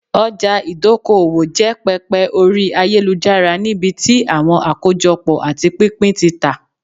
ọjà ìdókoòwò jẹ pẹpẹ ori ayelujara nibiti awọn akojopo ati pinpin ti ta